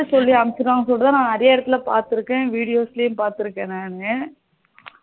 அப்படின்னு சொல்லிட்டு அனுப்பிருவாங்கணு சொல்லிட்டு தான் நா நிறைய இடத்துல பாத்துருக்கேன் videos பாத்துருக்கேன் நானு